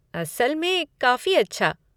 असल में, काफ़ी अच्छा।